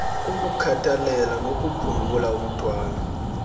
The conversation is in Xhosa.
ukukhathalela nokuphungula umthwalo